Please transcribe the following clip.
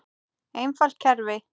Einfalt kerfi.